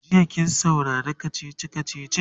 jiya kin saurari kachichi kachichin?